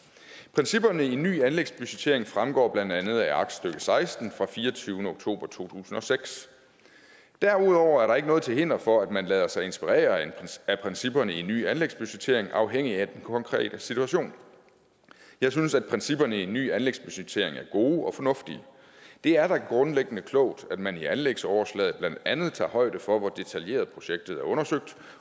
principperne i ny anlægsbudgettering fremgår blandt andet af aktstykke seksten fra fireogtyvende oktober to tusind og seks derudover er der ikke noget til hinder for at man lader sig inspirere af principperne i ny anlægsbudgettering afhængig af den konkrete situation jeg synes at principperne i ny anlægsbudgettering er gode og fornuftige det er da grundlæggende klogt at man i anlægsoverslaget blandt andet tager højde for hvor detaljeret projektet er undersøgt